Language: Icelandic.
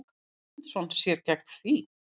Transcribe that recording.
Guðmundsson sér gegn því.